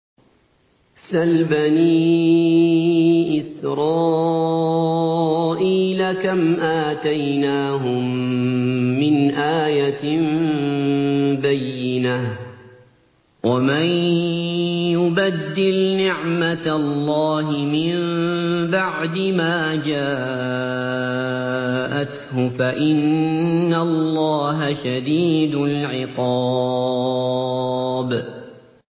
سَلْ بَنِي إِسْرَائِيلَ كَمْ آتَيْنَاهُم مِّنْ آيَةٍ بَيِّنَةٍ ۗ وَمَن يُبَدِّلْ نِعْمَةَ اللَّهِ مِن بَعْدِ مَا جَاءَتْهُ فَإِنَّ اللَّهَ شَدِيدُ الْعِقَابِ